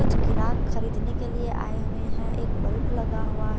कुछ गीराक खरीदने के लिए आए हुए हैं एक बल्ब लगा हुआ--